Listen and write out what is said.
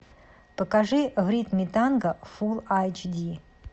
покажи в ритме танго фулл айч ди